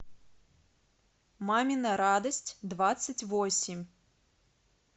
мамина радость двадцать восемь